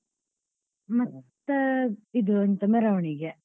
ಮತ್ತೆ ಇದು ಎಂಥ ಮೆರವಣಿಗೆ.